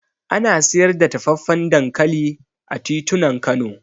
Ana siyar da dafaffen dankali a titunan Kano